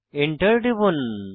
Enter টিপুন